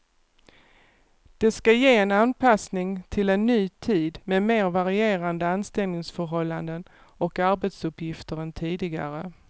Det ska ge en anpassning till en ny tid med mer varierande anställningsförhållanden och arbetsuppgifter än tidigare.